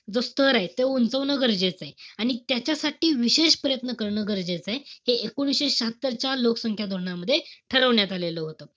जो स्तर ए तो उंचावणं गरजेचंय. आणि त्याच्यासाठी विशेष प्रयत्न करणं गरजेचंय. हे एकोणीशे शहात्तरच्या लोकसंख्या धोरणामध्ये ठरवण्यात आलेलं होतं.